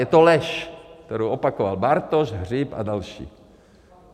Je to lež, kterou opakoval Bartoš, Hřib a další.